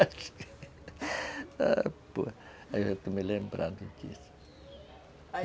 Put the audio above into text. Aí eu estou me lembrando disso